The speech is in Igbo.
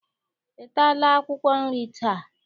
Ị taala akwụkwọ nri taa?